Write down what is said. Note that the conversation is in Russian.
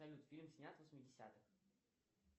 салют фильм снят в восьмидесятых